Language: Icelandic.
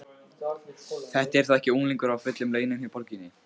Þetta er þó ekki unglingur á fullum launum hjá borginni?